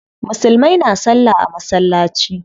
Musulmai na salla a masallaci.